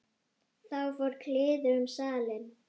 Þá fór kliður um salinn.